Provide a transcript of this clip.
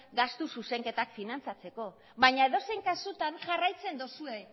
gastu zuzenketak finantzatzeko baina edozein kasutan jarraitzen duzue